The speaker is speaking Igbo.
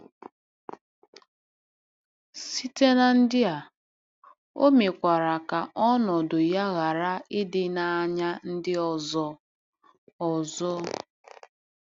Site na ndị a, o mekwara ka ọnọdụ ya ghara ịdị n'anya ndị ọzọ. ọzọ.